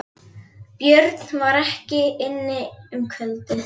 Björn var ekki inni um kvöldið.